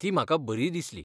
ती म्हाका बरी दिसली.